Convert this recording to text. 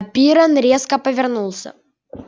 пиренн резко повернулся